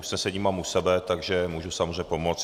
Usnesení mám u sebe, tak můžu samozřejmě pomoci.